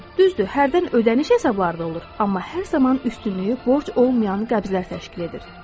Düzdür, hərdən ödəniş hesabları da olur, amma hər zaman üstünlüyü borc olmayan qəbzlər təşkil edir.